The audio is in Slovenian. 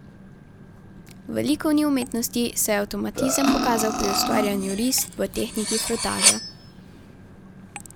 V likovni umetnosti se je avtomatizem pokazal pri ustvarjanju risb v tehniki frotaža.